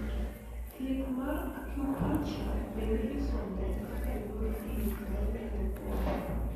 thieth mar acupunture bende isomo kaka yor thieth manyalo konyo